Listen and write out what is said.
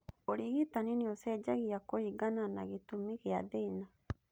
ũrigitani nĩũcenjagia kũringana na gĩtũmi gĩa thĩna